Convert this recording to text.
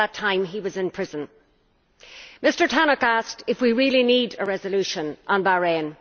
At that time he was in prison. Mr Tannock asked if we really need a resolution on Bahrain.